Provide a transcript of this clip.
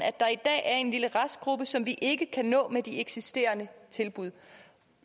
at der i dag er en lille restgruppe som vi ikke kan nå med de eksisterende tilbud